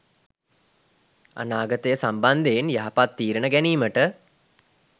අනාගතය සම්බන්ධයෙන් යහපත් තීරණ ගැනීමට